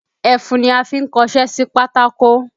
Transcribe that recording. Ẹfun ni a fi ń kọṣé sí pátákó